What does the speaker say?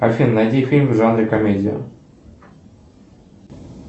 афина найди фильм в жанре комедия